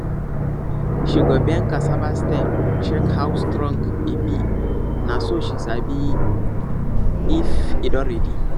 she go bend cassava stem check how strong e be na so she sabi if e don ready